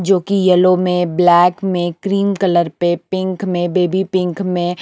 जो की येलो में ब्लैक में क्रीम कलर पे पिंक में बेबी पिंक में--